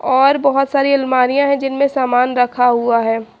और बहुत सारी अलमारियां हैं जिनमें सामान रखा हुआ है।